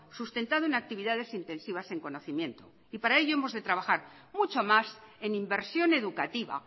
sustentado en actividades intensivas en conocimiento para ello hemos de trabajar mucho más en inversión educativa